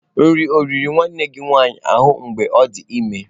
Nri ọ i riri nwanne gị nwanyị ahụ mgbe ọ dị ime?